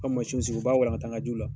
U ka masiw sigi u b'a walaganta an ka jiw la